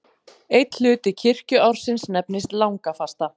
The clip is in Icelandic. Einn hluti kirkjuársins nefnist langafasta.